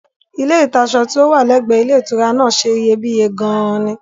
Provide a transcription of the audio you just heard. Ilé ìta'ṣọ tí ó wà lẹ́gbẹ̀ẹ ilé ìtura náà ṣe iyebíye gan-an ni